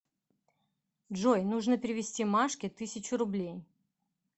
джой нужно перевести машке тысячу рублей